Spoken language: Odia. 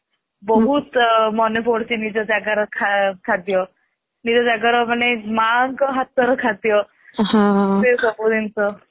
ବହୁତ ମନ ପଡୁଛି ମାନେ ନିଜ ଜଗର ଖାଦ୍ୟ ନିଜ ଜାଗାର ମାନେ ମାଆଙ୍କ ହାତର ଖାଦ୍ଯ ସେ ସବୁ ଜିନିଷ